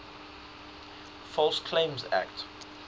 false claims act